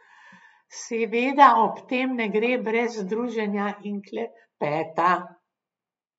Seveda ob tem ne gre brez druženja in klepeta.